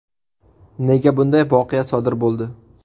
Nega bunday voqea sodir bo‘ldi?